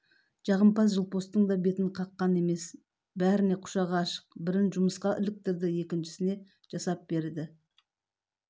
жағымпаз жылпостың да бетін қаққан емес бәріне құшағы ашық бірін жұмысқа іліктірді екіншісіне жасап берді